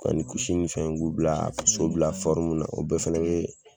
Ani kusi ni fɛn k'olu bila ka so bila fɔrumu na o bɛɛ fɛnɛ be